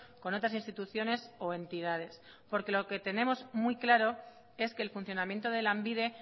con otras instituciones o entidades porque lo que tenemos muy claro es que el funcionamiento de lanbide